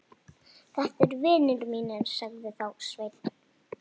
Þetta eru vinir mínir, sagði þá Sveinn.